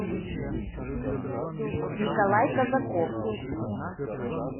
николай казаков